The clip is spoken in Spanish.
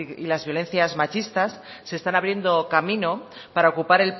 y las violencias machistas se están abriendo camino para ocupar